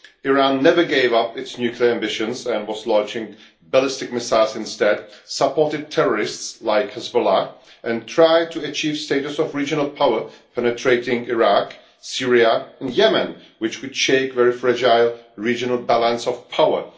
Iran never gave up its nuclear ambitions and was launching ballistic missiles instead, it supported terrorists like Hezbollah and it tried to achieve the status of a regional power, penetrating Iraq, Syria and Yemen, which could shake the very fragile regional balance of power.